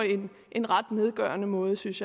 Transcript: en ret nedgørende måde synes